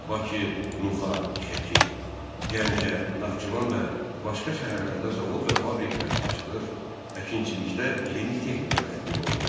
Bakı, Nuxa, Şəki, Gəncə, Naxçıvan və başqa şəhərlərdə zavod və fabriklər açılır, əkinçilikdə yeni texnika tətbiq olunurdu.